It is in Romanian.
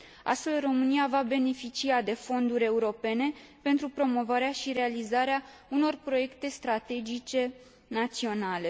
Astfel, România va beneficia de fonduri europene pentru promovarea și realizarea unor proiecte strategice naționale.